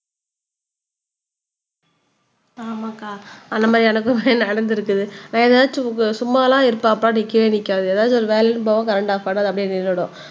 ஆமாக்கா அந்த மாதிரி எனக்கும் நடந்திருக்குது நான் எதாச்சும் சும்மா எல்லாம் இருப்பேன்பா அப்ப நிக்கவே நிக்காது ஏதாச்சும் ஒரு வேலைன்னு போகும் கரண்ட் ஆப் பண்ணாது அப்படியே நின்னுடும்